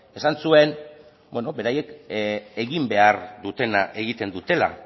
esan zuen beraiek egin behar dutena egiten dutela